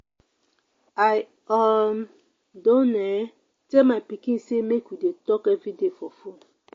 i um don um tell my pikin sey make we dey talk everyday for fone.